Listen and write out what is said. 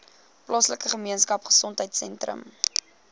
plaaslike gemeenskapgesondheid sentrum